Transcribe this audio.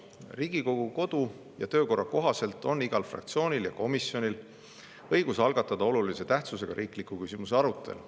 Riigikogu kodu- ja töökorra kohaselt on igal fraktsioonil ja komisjonil õigus algatada olulise tähtsusega riikliku küsimuse arutelu.